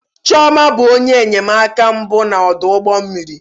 Chioma bụ onye enyemaka mbụ na ọdụ ụgbọ mmiri.